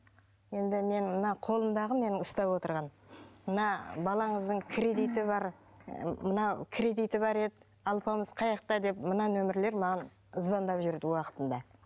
енді менің мына қолымдағы менің ұстап отырған мына балаңыздың кредиті бар ы мынау кредиті бар еді алпамыс қай жақта деп мына нөмірлер маған звандап жүреді уақытында